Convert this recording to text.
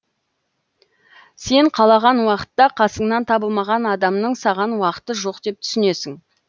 сен қалаған уақытта қасыңнан табылмаған адамның саған уақыты жоқ деп түсінесің